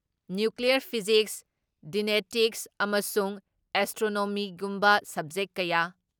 nuclear physics, genetics ꯑꯃꯁꯨꯡ ꯑꯦꯁꯇ꯭ꯔꯣꯅꯣꯃꯤꯒꯨꯝꯕ subject ꯀꯌꯥ